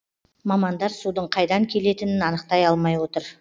мамандар судың қайдан келетінін анықтай алмай отыр